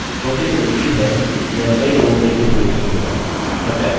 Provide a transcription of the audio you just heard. okay तो उम्मीद है यह कई लोगों के लिए उपयोगी होगा